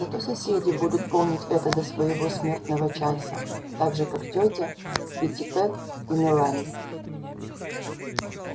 зато соседи будут помнить это до своего смертного часа так же как тётя питтипэт и мелани